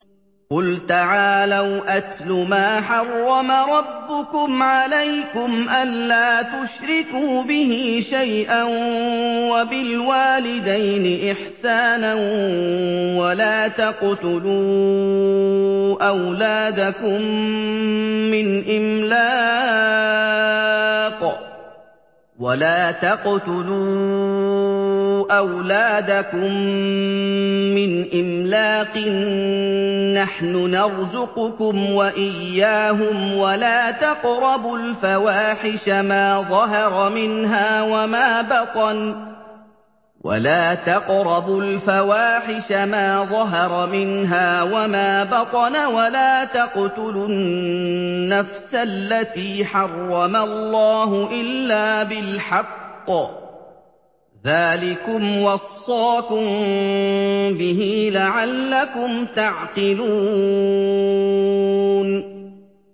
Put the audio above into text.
۞ قُلْ تَعَالَوْا أَتْلُ مَا حَرَّمَ رَبُّكُمْ عَلَيْكُمْ ۖ أَلَّا تُشْرِكُوا بِهِ شَيْئًا ۖ وَبِالْوَالِدَيْنِ إِحْسَانًا ۖ وَلَا تَقْتُلُوا أَوْلَادَكُم مِّنْ إِمْلَاقٍ ۖ نَّحْنُ نَرْزُقُكُمْ وَإِيَّاهُمْ ۖ وَلَا تَقْرَبُوا الْفَوَاحِشَ مَا ظَهَرَ مِنْهَا وَمَا بَطَنَ ۖ وَلَا تَقْتُلُوا النَّفْسَ الَّتِي حَرَّمَ اللَّهُ إِلَّا بِالْحَقِّ ۚ ذَٰلِكُمْ وَصَّاكُم بِهِ لَعَلَّكُمْ تَعْقِلُونَ